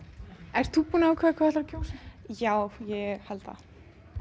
ert þú búin að ákveða hvað þú að kjósa já ég held það